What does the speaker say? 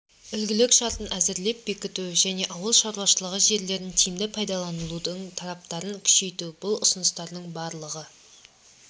үлгілік шартын әзірлеп бекіту және ауыл шаруашылығы жерлерін тиімді пайдаланудың талаптарын күшейту бұл ұсыныстардың барлығы